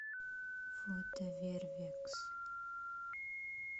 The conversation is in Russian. фото вервекс